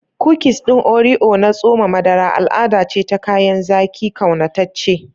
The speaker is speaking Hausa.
Kukis ɗin Oreo na tsoma madara al'ada ce ta kayan zaki ƙaunataccen.